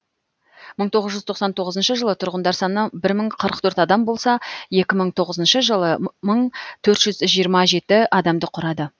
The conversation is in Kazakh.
мың тоғыз жүз тоқсан тоғызыншы жылы тұрғындар саны бір мың қырық төрт адам болса екі мың тоғызыншы жылы мың төрт жүз жиырма жеті адамды құрады